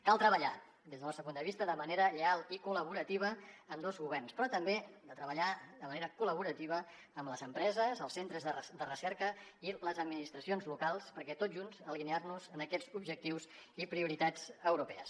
han de treballar des del nostre punt de vista de manera lleial i col·laborativa ambdós governs però també han de treballar de manera col·laborativa amb les empreses els centres de recerca i les administracions locals per tots junts alinear nos en aquests objectius i prioritats europees